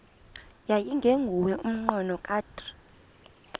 yayingenguwo umnqweno kadr